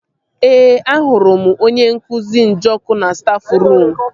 Ee, ahụrụ m onye nkụzi Njọkụ na stafruum